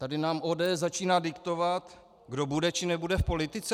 Tady nám ODS začíná diktovat, kdo bude, či nebude v politice?